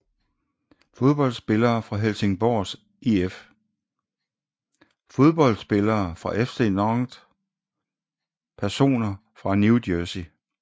Fodboldspillere fra Helsingborgs IF Fodboldspillere fra FC Nantes Personer fra New Jersey